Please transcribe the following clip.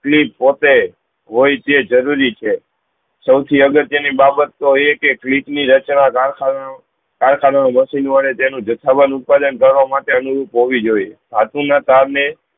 clip પોતે હોય છે જરૂરી છે સૌ થી અગત્ય ની બાબત તો એ કે કલીપ ની રચના ગાર ખાના ઓં તેનું જથા વાનું ઉત્પાદન કરવા માટે હોયી જોયીયે